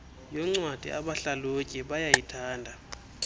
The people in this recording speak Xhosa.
yoncwadi abahlalutyi bayayithanda